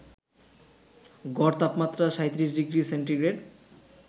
গড় তাপমাত্রা ৩৭ degree centigrade